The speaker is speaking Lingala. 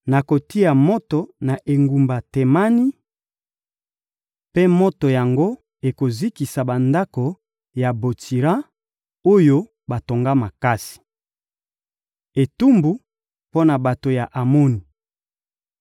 Nakotia moto na engumba Temani, mpe moto yango ekozikisa bandako ya Botsira, oyo batonga makasi.» Etumbu mpo na bato ya Amoni